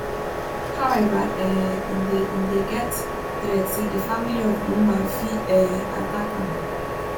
however um im dey im dey get threat say di family of di woman fit um attack am